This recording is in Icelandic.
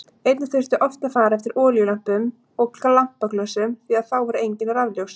Einnig þurfti oft að fara eftir olíulömpum og lampaglösum því að þá voru engin rafljósin.